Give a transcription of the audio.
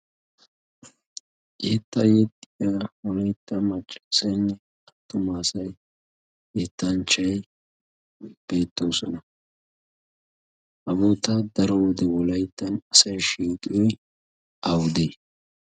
yeetta yetiya honeytta macciisenne attumaasay yeettanchchay beettoosona. haboota daro wode wolayttan asay shishiyoy awudee?